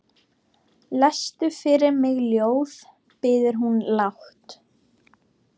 Lestu fyrir mig ljóð, biður hún lágt.